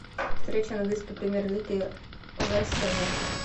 встреча английской премьер лиги лестер манчестер